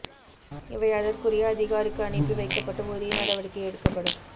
இவை அதற்குரிய அதிகாரிக்கு அனுப்பி வைக்கப்பட்டு உரிய நடவடிக்கை எடுக்கப்படும்